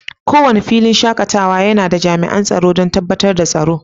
Kowane filinshakatawa yana da jami'an tsaro don tabbatar da tsaro.